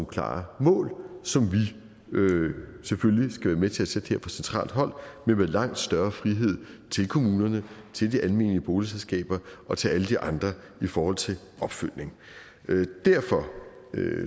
klare mål som vi selvfølgelig skal være med til at sætte her fra centralt hold men med langt større frihed til kommunerne til de almene boligselskaber og til alle de andre i forhold til opfølgning derfor